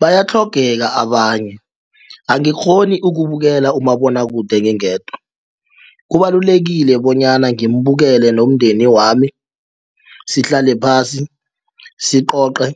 Bayatlhogeka abanye angikghoni ukubukela umabonwakude ngingedwa kubalulekile bonyana ngimbukele nomndeni wami sihlale phasi sicoce